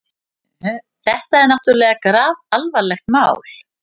Þetta er náttúrlega grafalvarlegt mál.